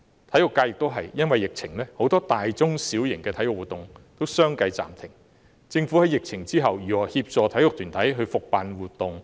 同樣地，體育界亦有很多大、中、小型體育活動亦由於疫情需要相繼暫停，政府在疫情後又會如何協助體育團體復辦活動？